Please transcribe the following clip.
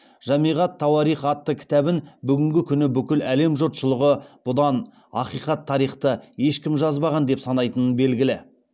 жамиғ ат тауарих атты кітабын бүгінгі күні бүкіл әлем жұртшылығы бұдан ақиқат тарихты ешкім жазбаған деп санайтыны белгілі